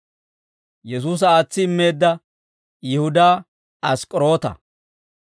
Yesuusa aatsi immeedda Yihudaa Ask'k'oroota.